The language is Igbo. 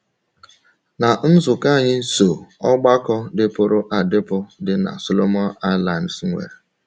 Ná nzukọ anyị so ọgbakọ dịpụrụ adịpụ dị na Solomon Islands nwee